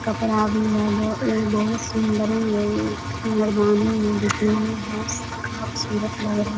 कपड़ा भी है ब एक बहुत चुंदड़ी है एक मच्छरदानी है लग रही --